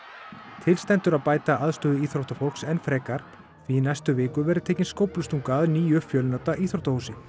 til stendur að bæta aðstöðu íþróttafólks enn frekar því í næstu viku verður tekin skóflustunga að nýju fjölnota íþróttahúsi